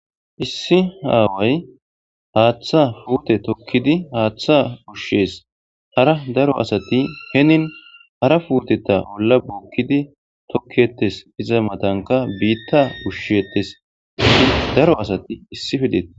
Issi aaway haaththa putte tokkidi haaththa ushshees. Hara daro asati hinin hara puteta olla bokkidi tokketes. iza mattanikka biitta ushshetes. Daro asati issippe deettees.